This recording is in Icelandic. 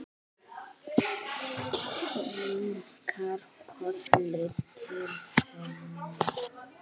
Kinkar kolli til hennar.